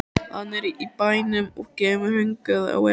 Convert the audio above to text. Hann er í bænum og kemur hingað á eftir.